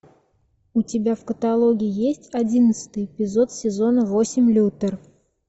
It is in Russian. у тебя в каталоге есть одиннадцатый эпизод сезона восемь лютер